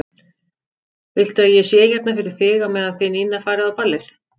Viltu að ég sé hérna fyrir þig á meðan þið Nína farið á ballið?